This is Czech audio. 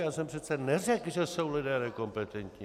Já jsem přece neřekl, že jsou lidé nekompetentní.